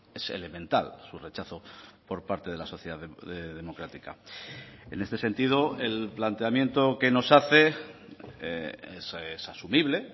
es elemental su rechazo por parte de la sociedad democrática en este sentido el planteamiento que nos hace es asumible